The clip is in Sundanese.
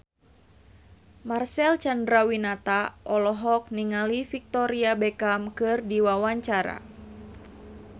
Marcel Chandrawinata olohok ningali Victoria Beckham keur diwawancara